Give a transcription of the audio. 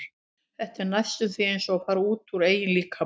Þetta er næstum því eins og að fara út úr eigin líkama.